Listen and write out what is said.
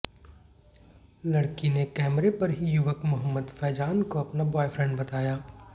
लड़की ने कैमरे पर ही युवक मोहम्मद फैजान को अपना बॉयफ्रेंड बताया